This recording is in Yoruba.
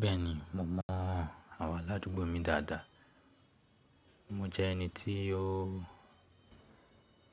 Bẹ́ẹ̀ni, mo mọ̀ ọ́n. Awon aládùúgbò mi dáadáa. Mo jẹ́ ẹni